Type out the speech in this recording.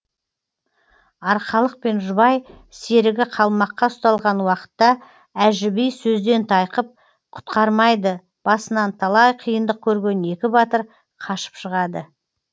арқалық пен жұбай серігі қалмаққа ұсталған уақытта әжі би сөзден тайқып құтқармайды басынан талай қиындық көрген екі батыр қашып шығады